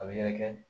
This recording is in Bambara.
A bɛ yɛrɛkɛ